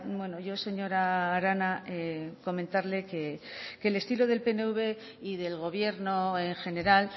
bueno yo señora arana comentarle que el estilo del pnv y del gobierno en general